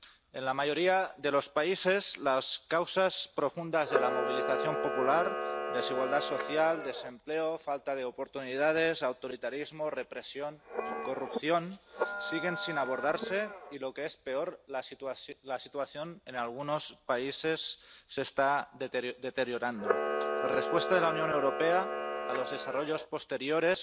En la mayoría de los países, las causas profundas de la movilización popular —desigualdad social, desempleo, falta de oportunidades, autoritarismo, represión, corrupción— siguen sin abordarse y, lo que es peor, la situación en algunos países se está deteriorando. Hay que reconocer que la respuesta de la Unión Europea a los desarrollos posteriores